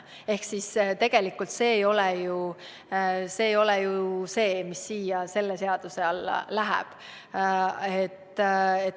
Ehk tegelikult see ei ole ju see, mis selle seaduseelnõu alla läheb.